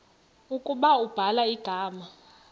ukuba ubhala igama